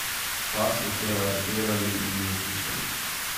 Par so včeraj aretirali in ju zaslišali.